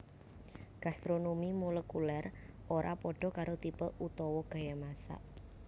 Gastronomi molekulèr ora padha karo tipe utawa gaya masak